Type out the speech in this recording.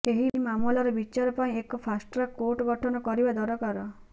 ଏହି ମାମଲାର ବିଚାର ପାଇଁ ଏକ ଫାଷ୍ଟଟ୍ରାକ୍ କୋର୍ଟ ଗଠନ କରିବା ଦରକାର